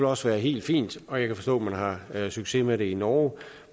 også være helt fint og jeg kan forstå man har succes med det i norge